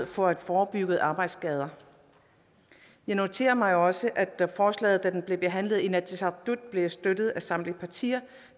for at forebygge arbejdsskader jeg noterer mig også at forslaget da det blev behandlet i inatsisartut blev støttet af samtlige partier